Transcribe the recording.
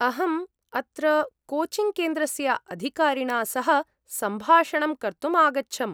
अहम् अत्र कोचिङ्ग्केन्द्रस्य अधिकारिणा सह सम्भाषणं कर्तुम् आगच्छम्।